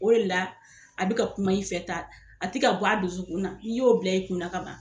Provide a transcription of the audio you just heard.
O de la a bi ka kuma i fɛ tan a te ka bɔ a dusukun na n'i y'o bila i kun kaban